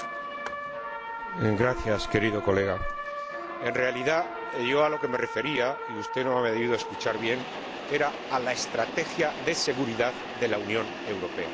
Querido colega, en realidad, a lo que yo me refería —y usted no me ha debido de escuchar bien— era a la estrategia de seguridad de la Unión Europea y a su programa de Estocolmo.